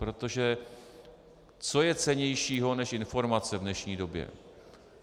Protože co je cennějšího než informace v dnešní době?